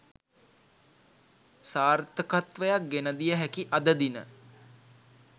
සාර්ථකත්වයක් ගෙනදිය හැකි අද දින